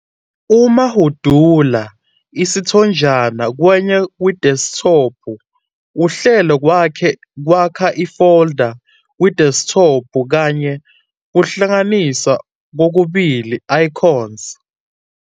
Uma hudula isithonjana kwenye kwideskithophu, uhlelo kwakha ifolda kwideskithophu kanye kuhlanganisa kokubili icons.